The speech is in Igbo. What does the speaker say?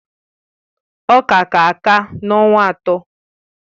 Ọka ka-aka n'ọnwa atọ